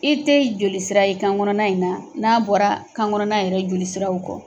I tɛ jolisira ye kan kɔnɔna in na n'a bɔra kan kɔnɔna yɛrɛ joli siraw kɔ.